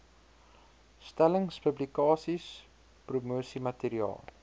stellings publikasies promosiemateriaal